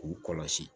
K'u kɔlɔsi